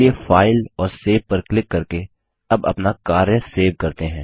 चलिए फाइल और सेव पर क्लिक करके अब अपना कार्य सेव करते हैं